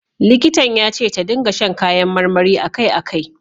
Likitan ya ce ta ringa sha kayan marmari a kai a kai.